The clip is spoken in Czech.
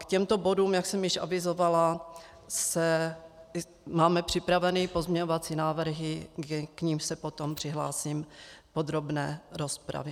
K těmto bodům, jak jsem již avizovala, máme připraveny pozměňovací návrhy, k nimž se potom přihlásím v podrobné rozpravě.